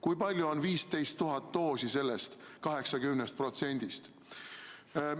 Kui palju on 15 000 doosi sellest 80%-st?